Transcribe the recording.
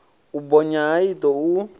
u bonya ha iṱo u